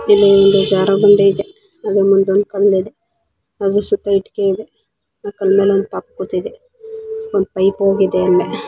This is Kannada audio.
ಇಲ್ಲಿ ಒಂದು ಜಾರುಬಂಡಿಯಿದೆ ಅಲ್ಲೆ ಮುಂದೆ ಒಂದು ಕಲ್ಲಿದೆ ಅಲ್ಲೆ ಪೈಪ್ ಸಹಾ ಇದೆ ಆ ಕಲ್ ಮೇಲೆ ಒಂದು ಪಾಪು ಕೂತಿದೆ ಒಂದ್ ಪೈಪ್ ಹೋಗಿದೆ. ಅಲ್ಲೇ ಒಂದು--